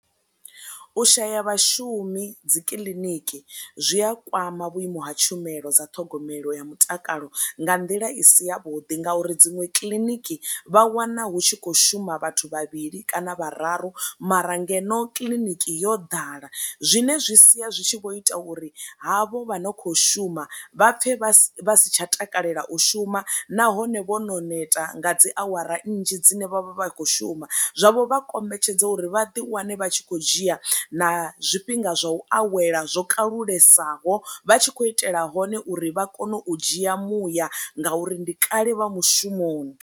U shaya vhashumi dzi kiḽiniki zwi a kwama vhuimo ha tshumelo dza ṱhogomelo ya mutakalo nga nḓila i si ya vhuḓi ngauri dziṅwe kiḽiniki vha wana hu tshi kho shuma vhathu vha vhili kana vhararu mara ngeno kiḽiniki yo ḓala zwine zwi sia zwi tshi vho ita uri havho vha no kho shuma vha pfhe vha si tsha takalela u shuma nahone vho no neta nga dzi awara nnzhi dzine vha vha vha khou shuma, zwavho vha kombetshedza uri vhaḓi wane vha tshi kho dzhia na zwifhinga zwa u awela zwo kalulesaho vha tshi khou itela hone uri vha kone u dzhia muya ngauri ndi kale vha mushumoni.